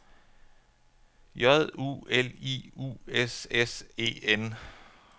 J U L I U S S E N